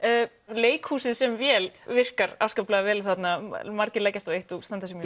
leikhúsið sem vél virkar afskaplega vel þarna margir leggjast á eitt og standa sig